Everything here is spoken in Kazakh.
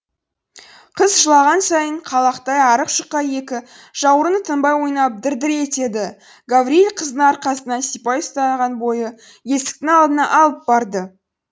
қыз жылаған сайын қалақтай арық жұқа екі жауырыны тынбай ойнап дір дір етеді гаврийл қыздың арқасынан сипай ұстаған бойы есіктің алдына алып барды